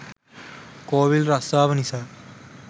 කෝවිල් රස්සාව නිසා